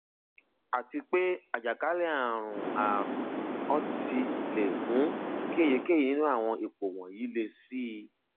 àti pé àjàkálẹ ààrùn ààrùn urti le mú kí èyíkéyìí nínú àwọn ipò wọnyií le síi